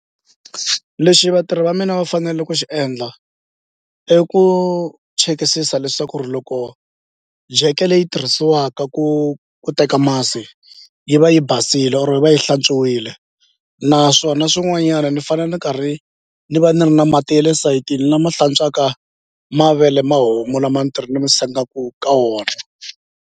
Lexi vatirhi va mina va fanele ku xi endla i ku chekisisa leswaku ri loko jeke leyi tirhisiwaka ku ku teka masi yi va yi basile or yi va yi hlantswiwile naswona swin'wanyana ni fanele ni karhi ni va ni ri na mati ya le sayitini lama hlantswaka mavele ma homu lama ni sengaku ka wona.